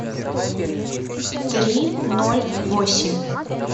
три ноль восемь